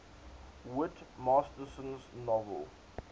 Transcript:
whit masterson's novel